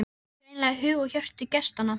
Átti greinilega hug og hjörtu gestanna.